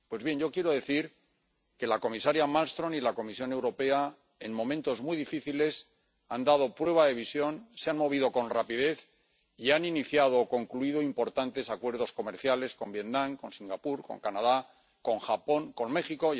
Pues bien, yo quiero decir que la comisaria Malmström y la Comisión Europea en momentos muy difíciles han dado prueba de visión, se han movido con rapidez y han iniciado o concluido importantes acuerdos comerciales con Vietnam, con Singapur, con Canadá, con Japón y con México.